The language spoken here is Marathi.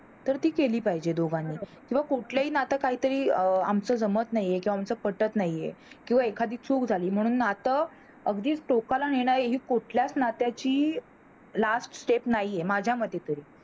तर ती केली पाहिजे दोघांनी पण, कुठलंही नात काही तरी अं आमच जमत नाही हे किंवा आमच पटत नाही किंवा एखादी चूक झाली म्हणून नात अगदी टोकाला नेणार ही कुठल्याच नात्याची last step नाही हे माझ्या मते तरी